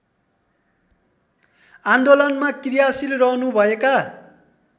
आन्दोलनमा क्रियाशील रहनुभएका